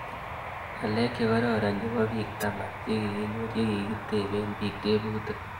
Ng'alek chekororon chepo pik taman che kikinor ye kikitepee pik tebutik